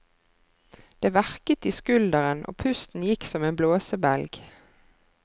Det verket i skulderen og pusten gikk som en blåsebelg.